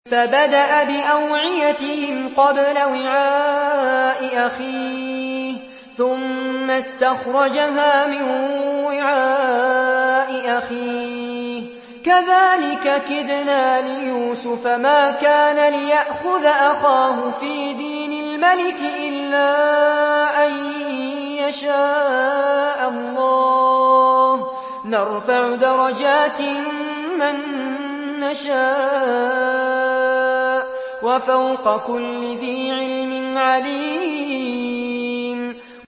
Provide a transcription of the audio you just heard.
فَبَدَأَ بِأَوْعِيَتِهِمْ قَبْلَ وِعَاءِ أَخِيهِ ثُمَّ اسْتَخْرَجَهَا مِن وِعَاءِ أَخِيهِ ۚ كَذَٰلِكَ كِدْنَا لِيُوسُفَ ۖ مَا كَانَ لِيَأْخُذَ أَخَاهُ فِي دِينِ الْمَلِكِ إِلَّا أَن يَشَاءَ اللَّهُ ۚ نَرْفَعُ دَرَجَاتٍ مَّن نَّشَاءُ ۗ وَفَوْقَ كُلِّ ذِي عِلْمٍ عَلِيمٌ